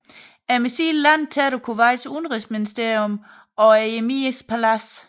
Missilet landede tæt på Kuwaits udenrigsministerium og emirens palads